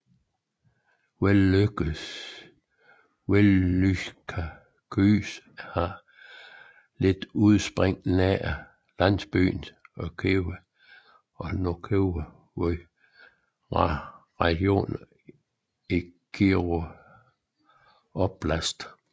Velyka Vys har sit udspring nær landsbyen Onykiyeve i Novoukrajinskyj rajon i Kirovohrad oblast